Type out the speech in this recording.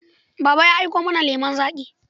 Baba ya aiko mana lemon zaƙi.